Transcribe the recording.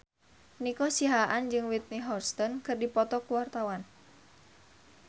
Nico Siahaan jeung Whitney Houston keur dipoto ku wartawan